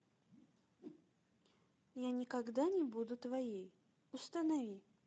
я никогда не буду твоей установи